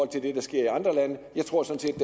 til det der sker i andre lande jeg tror sådan